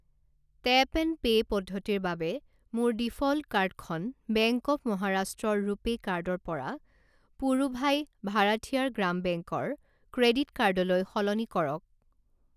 Tap and pay পদ্ধতিৰ বাবে মোৰ ডিফ'ল্ট কাৰ্ডখন বেংক অৱ মহাৰাষ্ট্ৰ ৰ ৰুপে কাৰ্ড ৰ পৰা পুড়ুভাই ভাৰাঠিয়াৰ গ্ৰাম বেংক ৰ ক্ৰেডিট কাৰ্ড লৈ সলনি কৰক।